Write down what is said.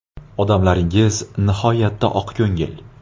Odamlaringiz nihoyatda oqko‘ngil.